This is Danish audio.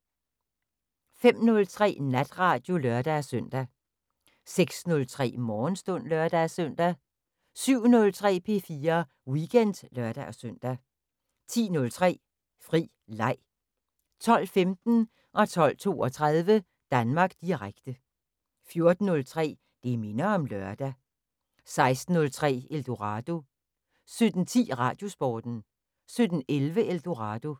05:03: Natradio (lør-søn) 06:03: Morgenstund (lør-søn) 07:03: P4 Weekend (lør-søn) 10:03: Fri Leg 12:15: Danmark Direkte 12:32: Danmark Direkte 14:03: Det minder om lørdag 16:03: Eldorado 17:10: Radiosporten 17:11: Eldorado